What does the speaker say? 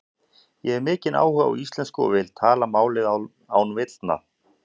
Ég hef mikinn áhuga á íslensku og ég vil tala málið án villna.